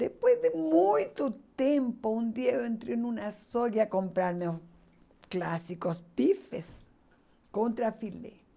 Depois de muito tempo, um dia eu entrei numa soja comprar meus clássicos bifes contra filé.